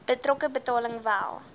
betrokke betaling wel